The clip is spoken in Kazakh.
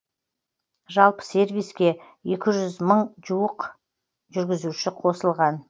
жалпы сервиске екі жүз мың жуық жүргізуші қосылған